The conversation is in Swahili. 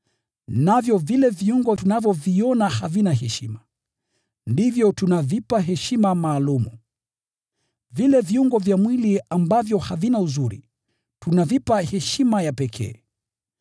Navyo vile viungo tunavyoviona havina heshima, ndivyo tunavipa heshima maalum. Vile viungo vya mwili ambavyo havina uzuri, tunavipa heshima ya pekee;